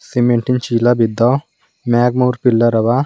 ಸಿಮೆಂಟಿ ನ್ ಚೀಲ ಬಿದ್ದವ ಮ್ಯಾಗ್ ಮೂರ್ ಪಿಲ್ಲರ್ ಅವ.